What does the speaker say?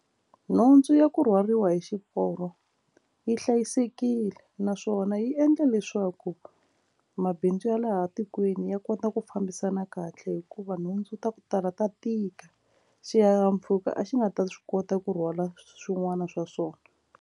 Nhundzu ya ku rhwariwa hi xiporo yi hlayisekile naswona yi endla leswaku mabindzu ya laha tikweni ya kota ku fambisana kahle hikuva nhundzu ta ku tala ta tika xihahampfhuka a xi nga ta swi kota ku rhwala swin'wana swa swona.